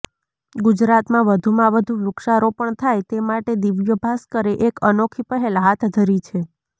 ગુજરાતમાં વધુમાં વધુ વૃક્ષારોપણ થાય તે માટે દિવ્યભાસ્કરે એક અનોખી પહેલ હાથ ધરી છે